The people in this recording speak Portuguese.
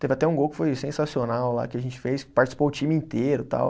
Teve até um gol que foi sensacional lá, que a gente fez, participou o time inteiro e tal.